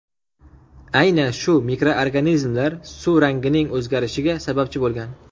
Aynan shu mikroorganizmlar suv rangining o‘zgarishiga sababchi bo‘lgan.